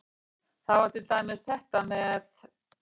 Það var til dæmis þetta með